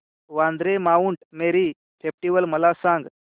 Vandre Mount Mary festival मला सांग